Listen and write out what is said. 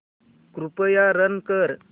कृपया रन कर